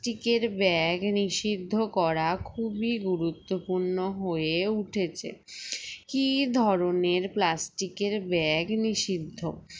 tic এর bag নিষিদ্ধ করা খুবই গুরুত্বপূর্ণ হয়ে উঠেছে কি ধরনের plastic এর bag নিষিদ্ধ